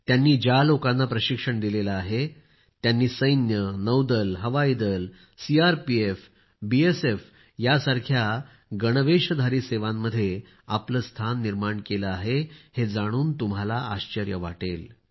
त्यांनी ज्या लोकांना प्रशिक्षण दिले आहे त्यांनी सैन्य नौदल हवाई दल सीआरपीएफ बीएसएफ सारख्या दलांमध्ये आपले स्थान निर्माण केले आहे हे जाणून तुम्हाला आश्चर्य वाटेल